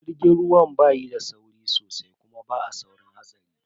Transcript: Jirgin ruwa ba yi da sauri sosai kuma ba a saurin hatsari.